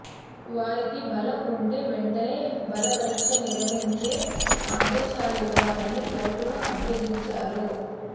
వారికి బలం ఉంటే వెంటనే బల పరీక్ష నిర్వహించే ఆదేశాలివ్వాలని కోర్టును అభ్యర్ధించారు